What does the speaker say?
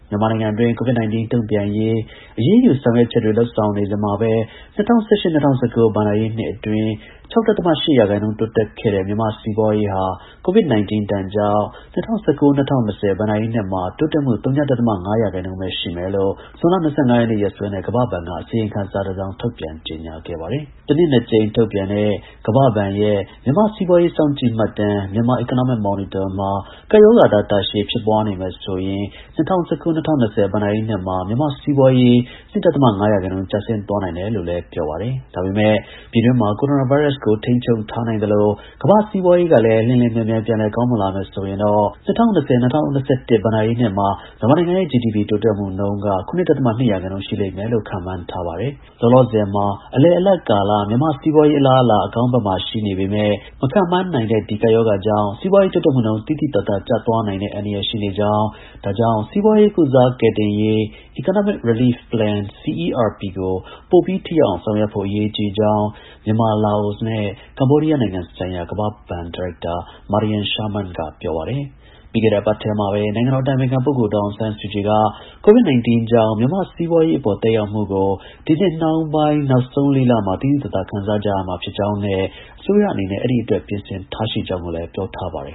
မြန်မာနိုင်ငံအတွင်း COVID-19 တုံ့ပြန်ရေး အရေးယူဆောင်ရွက်ချက်တွေ လုပ်ဆောင်နေစဉ်မှာပဲ ၂၀၁၈/၂၀၁၉ ဘဏ္ဍာရေးနှစ်အတွင်း ၆.၈ ရာခိုင်နှုန်း တိုးတက်ခဲ့တဲ မြန်မာ့စီးပွားရေးဟာ COVID- 19 ဒဏ်ကြောင့် ၂၀၁၉/၂၀၂၀ ဘဏ္ဍာရေးနှစ်မှာ တိုးတက်မှု ဝ.၅ရာခိုင်နှုန်းပဲ ရှိမယ်လို့ ဇွန်လ ၂၅ ရက်နေ့ ရက်စွဲနဲ့ ကမ္ဘာ့ဘဏ်က အစီရင်ခံစာထုတ်ပြန်ကြေညာခဲ့ပါတယ်။ တစ်နှစ် ၂ကြိမ် ထုတ်ပြန်တဲ့ကမ္ဘာ့ဘဏ်ရဲ့မြန်မာ့စီးပွားရေးစောင့်ကြည့်မှတ်တမ်း(Myanmar Economic Monitor) မှာ ကပ်ရောဂါသာ တာရှည်ဖြစ်ပွားနေမယ်ဆိုရင် ၂၀၁၉/၂၀၂၀ ဘဏ္ဍာရေးနှစ်မှာ မြန်မာ့စီးပွားရေး ၂.၅ ရာခိုင်နှုန်း ကျဆင်း သွားနိုင်တယ်လို့လည်း ပြောပါတယ်။ ဒါပေမယ့် ပြည်တွင်းမှာ ကိုရိုနာ ဗိုင်းရပ်စ်ကို ထိန်းချုပ်ထားနိုင်သလို ကမ္ဘာ့စီးပွားရေးကလည်း လျှင်လျှင်မြန်မြန် ပြန်လည် ကောင်းမွန်လာ မယ်ဆိုရင်တော့ ၂၀၂၀/၂၀၂၁ ဘဏ္ဍာရေးနှစ်မှာ မြန်မာနိုင်ငံရဲ့ GDP တိုးတက်နှုန်း ၇.၂ ရာခိုင်နှုန်း ရှိမယ်လို့ ကမ္ဘာ့ဘဏ်က ခန့်မှန်းထား ပါတယ်။ လောလာဆယ်မှာ အလယ်အလတ်ကာလ မြန်မာ့စီးပွားရေး အလားအလာ အကောင်းဘက်မှာ ရှိနေပေမဲ့ မခန့်မှန်းနိုင်တဲ့ ဒီ ကပ်ရောဂါ ကြောင့် စီးပွားရေးတိုးတက်မှုနှုန်း သိသိသာသာ ကျသွားနိုင်တဲ့ အန္တရာယ်ရှိနေကြောင်း၊ ဒါကြောင့် စီးပွားရေး ကုစားကယ်တင်ရေး Economic Relief Plan (ERP) ကိုပိုပြီးထိရောက်အောင် ဆောင်ရွက်ဖို့ အရေးကြီးကြောင်း မြန်မာ၊လာအိုနဲ့ ကမ္ဘောဒီးယား နိုင်ငံဆိုင်ရာ ကမ္ဘာ့ဘဏ် ဒါရိုက်တာ Mariam Sherman က ပြောပါတယ်။ ပြီးခဲ့တဲ့ အပတ်ထဲမှာပဲ နိုင်ငံတော် အတိုင်ပင်ခံ ပုဂ္ဂိုလ် ဒေါ်အောင်ဆန်းစုကြည်က COVID-19 ကြောင့် မြန်မာ့ စီးပွားရေး အပေါ် သက်ရောက်မှုကို ဒီနှစ်ရဲ့ နောက်ဆုံး ၄ လမှာ သိသိသာသာ ခံစားကြရမှာ ဖြစ်ကြောင်းနဲ့ အစိုးရအနေနဲ့ အဲဒီအတွက် ပြင်ဆင်ထား ကြောင်း ပြောထားပါတယ်